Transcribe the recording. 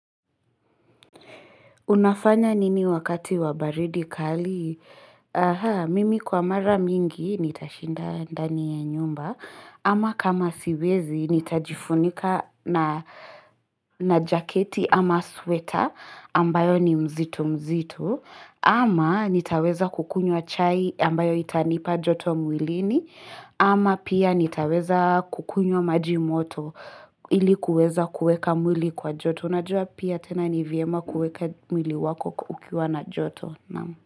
Unafanya nini wakati wa baridi kali? Mimi kwa mara mingi nita shinda ndani ya nyumba Ama kama siwezi nita jifunika na jaketi ama sweta ambayo ni mzitu mzitu Ama nitaweza kukunywa chai ambayo itanipa joto mwilini Ama pia nitaweza kukunywa maji moto ilikuweza kueka mwili kwa joto Tunajua pia tena nivyema kuweka mwili wako ukiwa na joto.